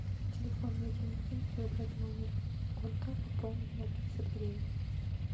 в телефонной книге выбрать номер колька пополнить на пятьдесят гривен